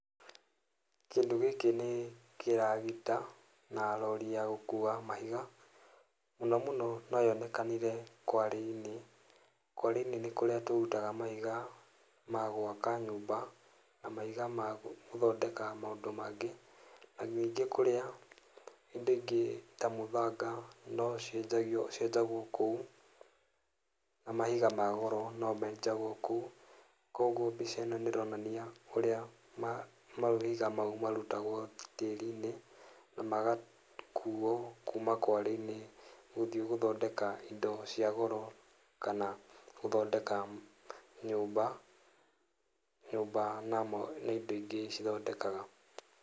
Kĩndũ gĩkĩ nĩ kĩragita, na rori ya gũkua mahiga, mũno mũno no yonekanire kware-inĩ, kware-inĩ nĩ kũrĩa tũrutaga mahiga ma gwaka nyũmba, na mahiga magũthondeka maũndũ mangĩ, na ningĩ kũrĩa hĩndĩ ĩngĩ ta mũthanga no cianjagio cienjagwo kũu, na mahiga ma goro no menjagwo kũu, koguo mbica ĩno nĩ ironania ũrĩa ma mahiga mau marutagwo tĩri-inĩ, na magakuo kuuma kware-inĩ, gũthiĩ gũthondeka indo cia goro, kana gũthondeka nyũmba, nyũmba na indo ingĩ cithondekaga.